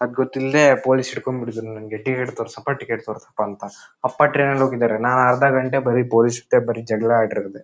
ಅದ್ ಗೊತ್ತಿಲ್ದೆ ಪೊಲೀಸ್ ಹಿಡಕೊಂಡುಬಿಟ್ಟಿದ್ರು ಟಿಕೆಟ್ ತೋರಸಪ್ಪಾ ಟಿಕೆಟ್ ತೋರಸಪ್ಪಾ ಅಂತ ಅಪ್ಪ ಟ್ರೈನ್ನಲ್ಲಿ ಹೋಗಿದಾರೆ ನಾನ್ ಅರ್ಧ ಗಂಟೆ ಬರೀ ಪೊಲೀಸ್ ಜೊತೆ ಬರೀ ಜಗಳ ಆಡಿರದೇ.